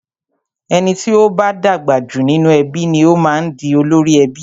Ẹni tí o bá dàgbà jù nínú ẹbí ni o máa ń di olórí ẹbí.